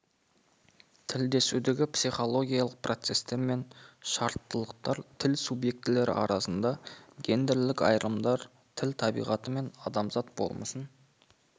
тілдесудегі психологиялық процестер мен шарттылықтар тіл субъектілері арасындағы гендерлік айырымдар тіл табиғаты мен адамзат болмысын